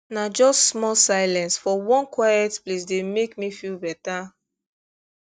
na just small silence for one quiet place dey make me feel better